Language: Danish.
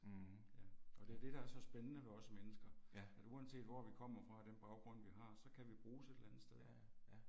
Og det er det der er så spændende ved os mennesker, at uanset hvor vi kommer fra og den baggrund vi har så kan vi bruges et eller andet sted ik